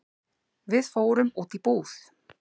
Við fórum út í búð.